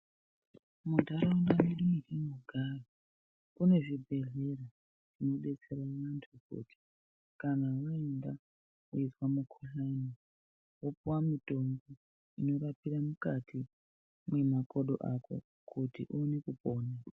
Mundaraunda mwedu matinogara mune zvibhehlera zvinobetsera vantu Kuti kana vaenda kunorapwa mukuhlani wopuwa mutombo inorapira mukati memakodo ako Kuti oone kupona.